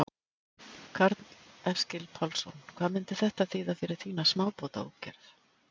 Karl Eskil Pálsson: Hvað myndi þetta þýða fyrir þína smábátaútgerð?